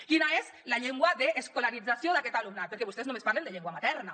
quina és la llengua d’escolarització d’aquest alumnat perquè vostès només parlen de llengua materna